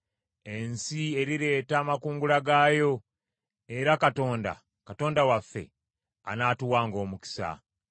Ensi erireeta amakungula gaayo; era Katonda, Katonda waffe, anaatuwanga omukisa.